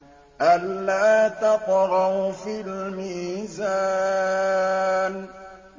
أَلَّا تَطْغَوْا فِي الْمِيزَانِ